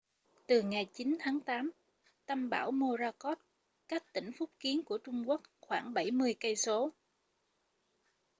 từ ngày 9 tháng tám tâm bão morakot cách tỉnh phúc kiến của trung quốc khoảng bảy mươi cây số